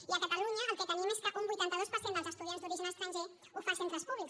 i a catalunya el que tenim és que un vuitanta dos per cent dels estudiants d’origen estranger ho fa en centres públics